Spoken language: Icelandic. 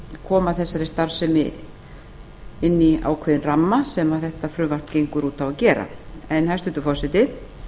koma þessari starfsemi inn í ákveðinn ramma sem þetta frumvarp gengur út á að gera en hæstvirtur forseti